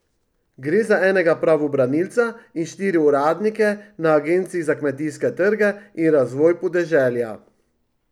Gre za enega pravobranilca in štiri uradnike na agenciji za kmetijske trge in razvoj podeželja.